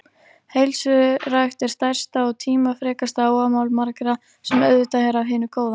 Heilsurækt er stærsta og tímafrekasta áhugamál margra, sem auðvitað er af hinu góða.